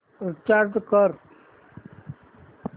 recharge कर